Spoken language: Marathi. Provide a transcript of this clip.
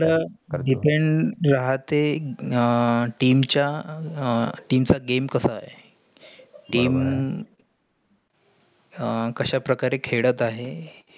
जीतुन राहतेय आह team च्या अं team चा game कसा आहे बरोबर आहे. team अं कशा प्रकारें खेळत आहे?